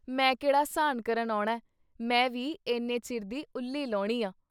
ਮੈਂ ਕਿਹੜਾ ਸਾਨ੍ਹ ਕਰਨ ਆਉਣਾ ਮੈਂ ਵੀ ਇਨ੍ਹੇ, ਚਿਰ ਦੀ ਉੱਲੀ ਲਹੌਣੀ ਆਂ।